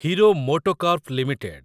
hero MotoCorp limited